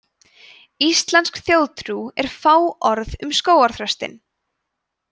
íslensk þjóðtrú er fáorð um skógarþröstinn